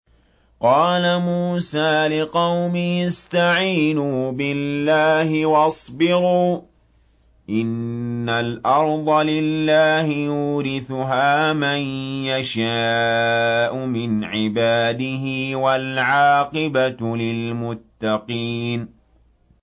قَالَ مُوسَىٰ لِقَوْمِهِ اسْتَعِينُوا بِاللَّهِ وَاصْبِرُوا ۖ إِنَّ الْأَرْضَ لِلَّهِ يُورِثُهَا مَن يَشَاءُ مِنْ عِبَادِهِ ۖ وَالْعَاقِبَةُ لِلْمُتَّقِينَ